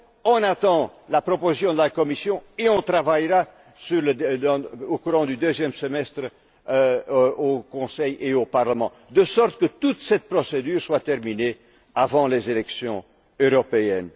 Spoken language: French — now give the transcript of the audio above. On attend la proposition de la Commission et on travaillera au cours du deuxième semestre au Conseil et au Parlement, de sorte que toute cette procédure soit terminée avant les élections européennes.